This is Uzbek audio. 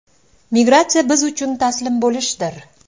Migratsiya biz uchun taslim bo‘lishdir”.